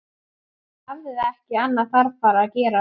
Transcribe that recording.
Hún hafði ekki annað þarfara að gera.